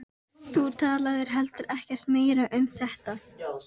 Þú talaðir heldur ekkert meira um þetta.